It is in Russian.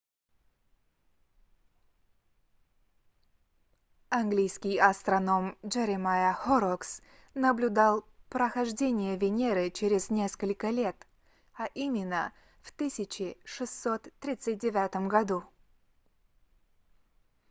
английский астроном джеремайя хоррокс jeremiah horrocks наблюдал прохождение венеры через несколько лет а именно в 1639 году